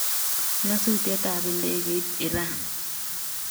Nyasutietab ndegeit Iran: